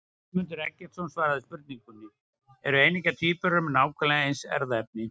Guðmundur Eggertsson svaraði spurningunni Eru eineggja tvíburar með nákvæmlega eins erfðaefni?